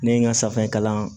Ne ye n ka safinɛ kalan